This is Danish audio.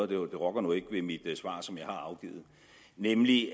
det rokker nu ikke ved mit svar som jeg har afgivet nemlig